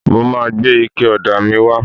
Mo ma gbé ike ọ̀dà míì wá.